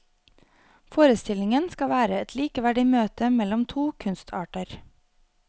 Forestillingen skal være et likeverdig møte mellom to kunstarter.